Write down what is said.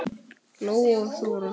Lóa og Þóra.